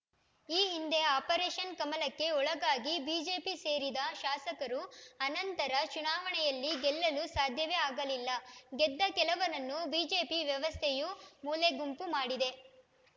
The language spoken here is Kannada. ಈ ಹಿಂದೆ ಆಪರೇಷನ್‌ ಕಮಲಕ್ಕೆ ಒಳಗಾಗಿ ಬಿಜೆಪಿ ಸೇರಿದ ಶಾಸಕರು ಅನಂತರ ಚುನಾವಣೆಯಲ್ಲಿ ಗೆಲ್ಲಲು ಸಾಧ್ಯವೇ ಅಗಲಿಲ್ಲ ಗೆದ್ದ ಕೆಲವರನ್ನು ಬಿಜೆಪಿ ವ್ಯವಸ್ಥೆಯು ಮೂಲೆಗುಂಪು ಮಾಡಿದೆ